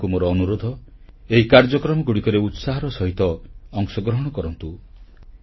ଆପଣମାନଙ୍କୁ ମୋର ଅନୁରୋଧ ଏହି କାର୍ଯ୍ୟକ୍ରମଗୁଡ଼ିକରେ ଉତ୍ସାହର ସହିତ ଅଂଶଗ୍ରହଣ କରନ୍ତୁ